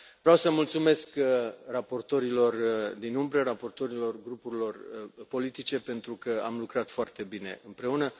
Vreau să mulțumesc raportorilor din umbră, raportorilor grupurilor politice, pentru că am lucrat foarte bine împreună.